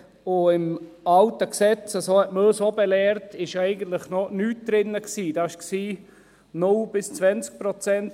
Im alten Gesetz – so hat man uns auch belehrt – war eigentlich noch nichts drin, da waren es 0–20 Prozent.